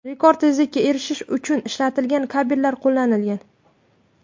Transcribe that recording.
Rekord tezlikka erishish uchun ishlatilgan kabellar qo‘llanilgan.